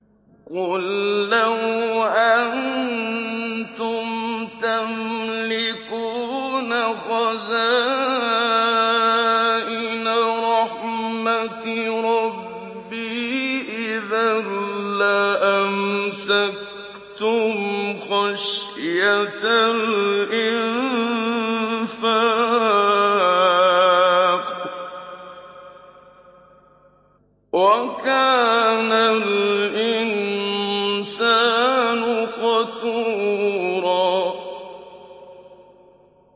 قُل لَّوْ أَنتُمْ تَمْلِكُونَ خَزَائِنَ رَحْمَةِ رَبِّي إِذًا لَّأَمْسَكْتُمْ خَشْيَةَ الْإِنفَاقِ ۚ وَكَانَ الْإِنسَانُ قَتُورًا